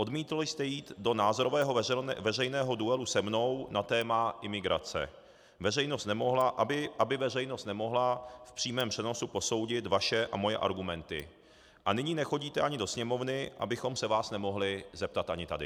Odmítl jste jít do názorového veřejného duelu se mnou na téma imigrace, aby veřejnost nemohla v přímém přenosu posoudit vaše a moje argumenty, a nyní nechodíte ani do Sněmovny, abychom se vás nemohli zeptat ani tady.